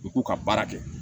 U k'u ka baara kɛ